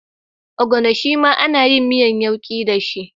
Ogbono shima ana miyar yauki dashi